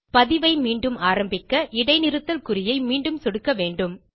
பதிவை மீண்டும் ஆரம்பிக்க இடைநிறுத்தல் குறியை மீண்டும் சொடுக்க வேண்டும்